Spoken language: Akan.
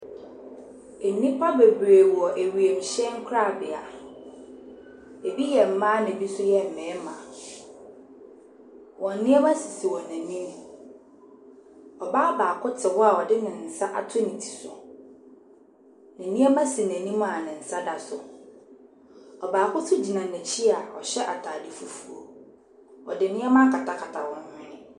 Nnipa bebree wɔ wiemhyɛn korabea. Ebi yɛ mmaa na ebi nso yɛ mmarima. Wɔn nneɛma sisi wɔn anim. Ɔbaa baako te hɔ a ɔde ne nsa ato ne ti so. Ne nneɛma si n'anim a ne nsa da so. Ɔbaako nso gyina n'akyi a ɔhyɛ atade fufuo. Ɔde nneɛma akatakata wɔn hwene.